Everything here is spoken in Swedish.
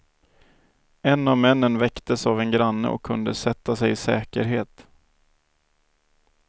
En av männen väcktes av en granne och kunde sätta sig i säkerhet.